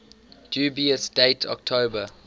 dubious date october